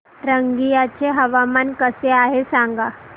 रंगिया चे हवामान कसे आहे सांगा